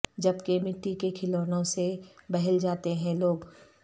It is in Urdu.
جب کہ مٹی کے کھلونوں سے بہل جاتے ہیں لوگ